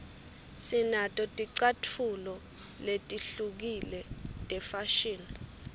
sinato ticatfulo letihlukile tefashini